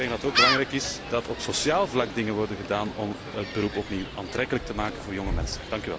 Ik denk dat het ook belangrijk is dat op sociaal vlak dingen worden gedaan om het beroep opnieuw aantrekkelijk te maken voor jonge mensen.